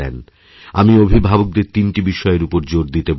আমি অভিভাবকদের তিনটি বিষয়ের উপর জোর দিতে বলবো